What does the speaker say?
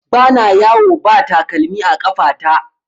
Ba na yawo ba takalmi a ƙafa ta